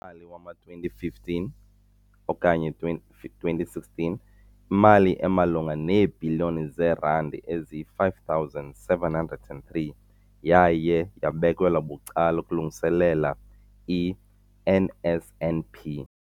mali wama-2015, 16, imali emalunga neebhiliyoni zeerandi eziyi-5 703 yaye yabekelwa bucala ukulungiselela i-NSNP.